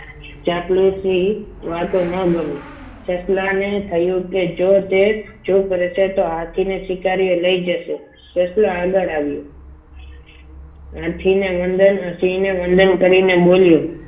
ચાપલું છે વાતો ના ગમી સસલાને થયું કે જો તે ચૂપ રહેશે તો હાથીને સ્વીકાર્યો લઈ જશે સસલું આગળ આવ્યું હાથીને વંદન હાથીને વંદન કરીને બોલ્યું